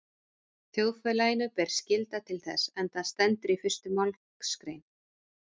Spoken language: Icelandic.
Þjóðfélaginu ber skylda til þess, enda stendur í fyrstu málsgrein